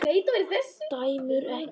Dæmum ekki.